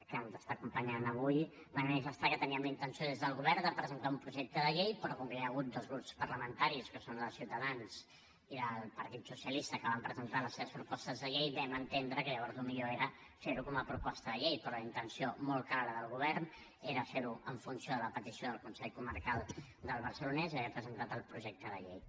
que ens està acompanyant avui va manifestar que teníem la intenció des del govern de presentar un projecte de llei però com que hi ha hagut dos grups parlamentaris que són el de ciutadans i del partit socialista que van presentar les seves propostes de llei vam entendre que llavors el millor era fer ho com a proposta de llei però la intenció molt clara del govern era fer ho en funció de la petició del consell comarcal del barcelonès i haver presentat el projecte de llei